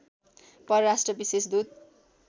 परराष्ट्र विशेष दूत